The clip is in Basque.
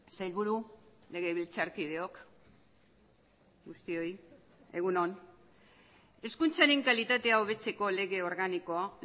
sailburu legebiltzarkideok guztioi egun on hezkuntzaren kalitatea hobetzeko lege organikoa